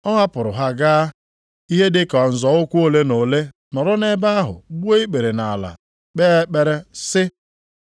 Ọ hapụrụ ha gaa ihe ha ka nzọ ụkwụ ole na ole nọrọ nʼebe ahụ gbuo ikpere nʼala kpee ekpere, sị,